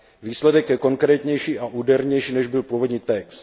Výsledek je konkrétnější a údernější, než byl původní text.